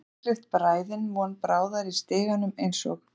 Burstaklippt bræðin von bráðar í stiganum eins og